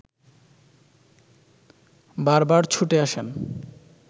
বারবার ছুটে আসেন